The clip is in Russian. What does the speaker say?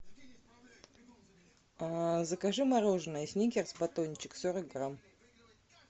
закажи мороженое сникерс батончик сорок грамм